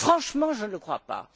Franchement, je ne le crois pas.